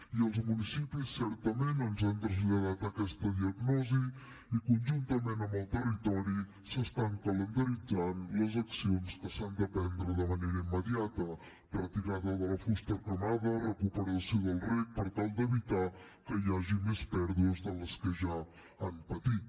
i els municipis certament ens han traslladat aquesta diagnosi i conjuntament amb el territori s’estan calendaritzant les accions que s’han de prendre de manera immediata retirada de la fusta cremada recuperació del rec per tal d’evitar que hi hagi més pèrdues de les que ja han patit